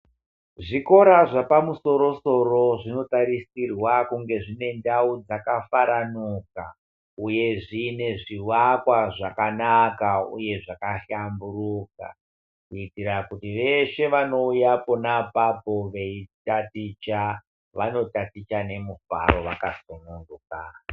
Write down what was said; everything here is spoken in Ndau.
Zvikora zvapamusoro soro zvinotarisirwa kunge zvine ndau dzakafaranuka uye zvine zvivakwa zvakanaka uye zvakahlamburuka kuitira kuti veshe vanouya pona apapo veitaticha vanotaticha nemufaro vakasununguka.